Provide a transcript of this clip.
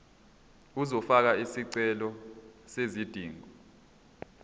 uzofaka isicelo sezidingo